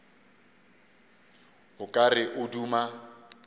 o ka re o duma